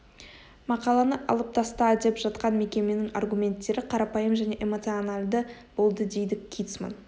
мақаланы алып таста деп жатқан мекеменің аргументтері қарапайым және эмоциональды болдыдейді китцман